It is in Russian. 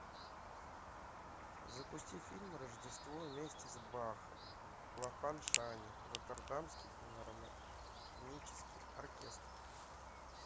запусти фильм рождество вместе с бахом лахав шани роттердамский филармонический оркестр